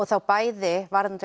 þá bæði varðandi